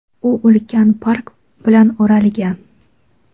u ulkan park bilan o‘ralgan.